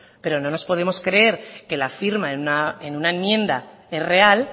pero no nos podemos creer que la firma en una enmienda es real